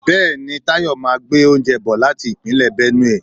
Bẹẹni, Tayọ máa gbé oúnjẹ bò láti Ìpínlẹ̀ Benue.